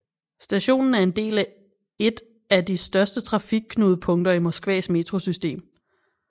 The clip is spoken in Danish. Stationen er en del et af de største trafikknudepunkter i Moskvas metrosystem